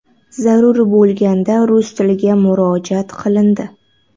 Zarur bo‘lganda, rus tiliga murojaat qilindi.